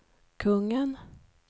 kungen